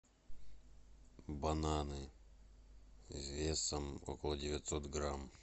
бананы весом около девятьсот грамм